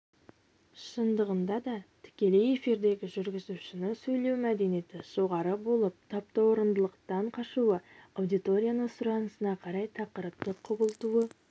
шындығында да тікелей эфирдегі жүргізушінің сөйлеу мәдениеті жоғары болып таптаурындылықтан қашуы аудиторияның сұранысына қарай тақырыпты құбылтуы